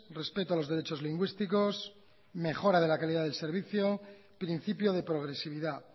respeto a los derechos lingüísticos mejora de la calidad del servicio y principio de progresividad